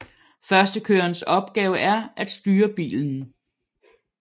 Førstekørerens opgave er at styre bilen